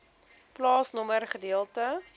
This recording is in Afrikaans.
plaasnommer gedeelte